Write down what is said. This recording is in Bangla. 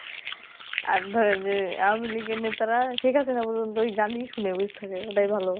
আর ধরেন যে . ঠিক আছে ওই পর্যন্ত ওই গানই শুনে চুপ থাকে ওটাই ভালো